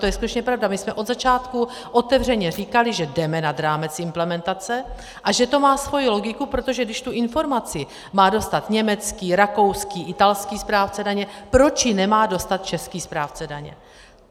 To je skutečně pravda, my jsme od začátku otevřeně říkali, že jdeme nad rámec implementace a že to má svoji logiku, protože když tu informaci má dostat německý, rakouský, italský správce daně, proč ji nemá dostat český správce daně.